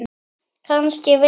Kannski vildi